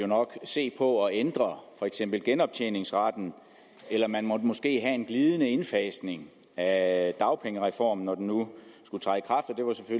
måtte se på at ændre for eksempel genoptjeningsretten eller at man måske måtte have en glidende indfasning af dagpengereformen når den nu skulle træde